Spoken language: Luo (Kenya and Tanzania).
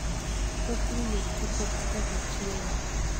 Thoth winy ok ti kodgi kaka chiemo.